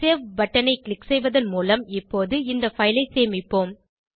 save பட்டனை click செய்வதன் மூலம் இப்போது இந்த பைல் ஐ சேமிப்போம்